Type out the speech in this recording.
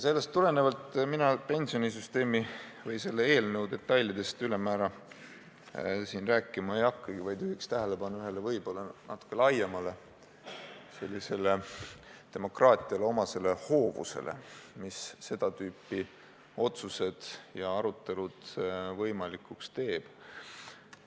Sellest tulenevalt mina siin pensionisüsteemi või selle eelnõu detailidest ülemäära rääkima ei hakkagi, vaid juhin tähelepanu ühele võib-olla sellisele natuke laiemale demokraatiale omasele hoovusele, mis seda tüüpi otsused ja arutelud võimalikuks teeb.